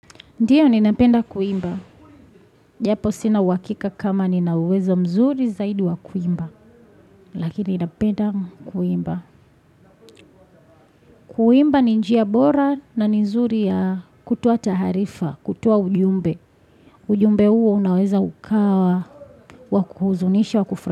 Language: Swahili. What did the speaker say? Ndiyo ninapenda kuimba. Japo sina uwakika kama nina uwezo mzuri zaidi wa kuimba. Lakini ninapenda kuimba. Kuimba ni njia bora na ni nzuri ya kutoa taarifa, kutoa ujumbe. Ujumbe huo unaweza ukawa wa kuhuzunisha wa kufra.